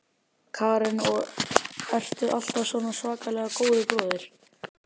Karen: Og ertu alltaf svona svakalega góður bróðir?